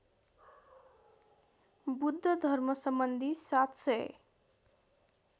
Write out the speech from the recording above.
बुद्ध धर्मसम्बन्धी ७००